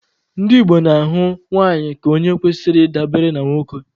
Ndị Igbo na-ahụ nwanyị ka onye kwesịrị ị dabere na nwoke.